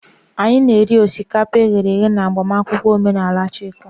Anyị na-eri osikapa e ghere eghe na agbamakwụkwọ omenala Chika.